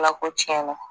Ala ko tiɲɛna